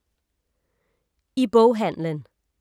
I boghandlen